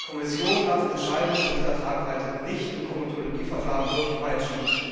Die Kommission darf Entscheidungen von dieser Tragweite nicht im Komitologieverfahren durchpeitschen.